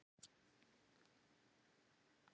Hún hefur hitt hann nokkrum sinnum heima hjá þeim.